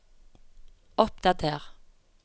oppdater